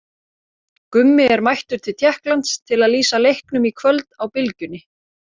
Gummi er mættur til Tékklands til að lýsa leiknum í kvöld á Bylgjunni.